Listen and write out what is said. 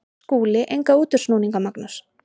SKÚLI: Enga útúrsnúninga, Magnús.